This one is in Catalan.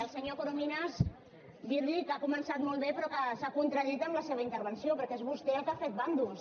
al senyor corominas dir li que ha començat molt bé però que s’ha contradit en la seva intervenció perquè és vostè el que ha fet bàndols